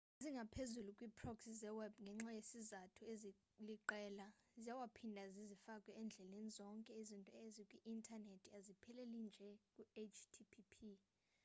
zingaphezulu kwii-proxy zeweb ngenxa yezizathu eziliqela ziyaphinda zizifake endleleni zonke izinto ezikwi-intanethi azipheleli nje ku-http